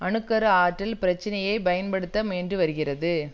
அணு கரு ஆற்றல் பிரச்சனையை பயன்படுத்த முயன்று வருகிறது